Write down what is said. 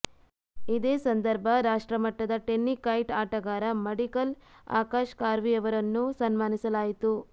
ಇದೇ ಸಂದರ್ಭ ರಾಷ್ಟ್ರ ಮಟ್ಟದ ಟೆನ್ನಿಕಾಯ್ಟ್ ಆಟಗಾರ ಮಡಿಕಲ್ ಆಕಾಶ ಖಾರ್ವಿ ಅವರನ್ನು ಸನ್ಮಾನಿಸಲಾಯಿತು